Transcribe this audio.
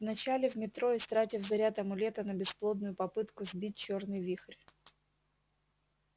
вначале в метро истратив заряд амулета на бесплодную попытку сбить чёрный вихрь